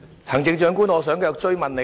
行政長官，我想繼續追問。